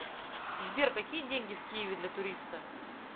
сбер какие деньги в киеве для туриста